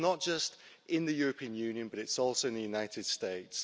It's not just in the European Union, but it's also in the United States.